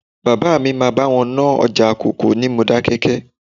Bàbá mi máa bá wọn nájà kòkó ní Modákẹ́kẹ́